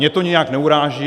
Mě to nijak neuráží.